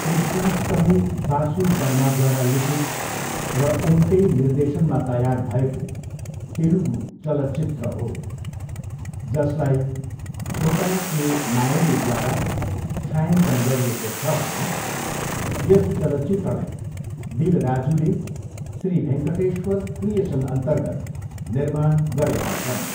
कृष्णाष्टमी बासु बर्माद्वारा लिखित र उनकै निर्देशनमा तयार भएको तेलुगु चलचित्र हो, जसलाई छोटा के नायडूद्वारा छायाङ्कन गरिएको छ भने यस चलचित्रलाई दिल राजुले श्री भेङ्कटेस्वर क्रिएसनअन्तर्गत निर्माण गरेका छन्।